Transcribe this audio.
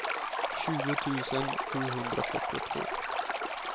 tjugo tusen sjuhundrafyrtiotvå